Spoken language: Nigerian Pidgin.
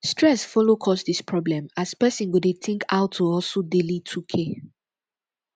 stress follow cause dis problem as pesin go dey tink ow to hustle daily 2k